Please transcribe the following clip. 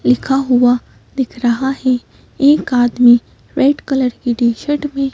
लिखा हुआ दिख रहा है एक आदमी रेड कलर की टी शर्ट में--